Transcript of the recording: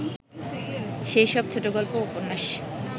সেসব ছোটগল্প ও উপন্যাস